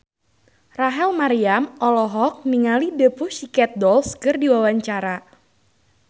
Rachel Maryam olohok ningali The Pussycat Dolls keur diwawancara